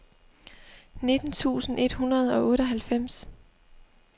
nitten tusind et hundrede og otteoghalvfems